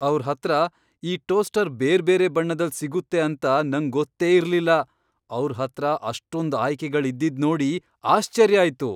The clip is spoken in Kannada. ಅವ್ರ್ ಹತ್ರ ಈ ಟೋಸ್ಟರ್ ಬೇರ್ಬೇರೆ ಬಣ್ಣದಲ್ ಸಿಗುತ್ತೆ ಅಂತ ನಂಗ್ ಗೊತ್ತೇ ಇರ್ಲಿಲ್ಲ, ಅವ್ರ್ ಹತ್ರ ಅಷ್ಟೊಂದ್ ಆಯ್ಕೆಗಳ್ ಇದ್ದಿದ್ ನೋಡಿ ಆಶ್ಚರ್ಯ ಆಯ್ತು.